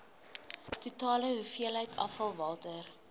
totale hoeveelheid afvalwater